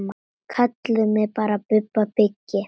Kallið mig bara Bubba byggi.